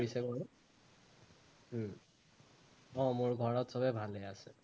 কৰিছে বাৰু উম অ মোৰ ঘৰত সৱেই ভালেই আছে